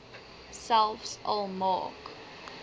selfs al maak